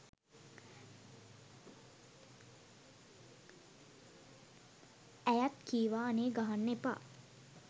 ඇයත් කීවා අනේ ගහන්න එපා